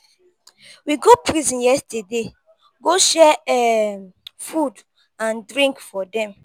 we go prison yesterday go share um food and drink for dem.